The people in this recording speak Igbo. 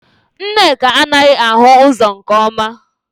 Nneka anaghị ahụ ụzọ nke ọma